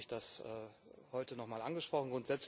Deswegen habe ich das heute nochmal angesprochen.